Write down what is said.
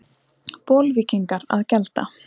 Bolvíkingar að gjalda?